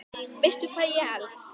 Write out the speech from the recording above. Veistu hvað ég held.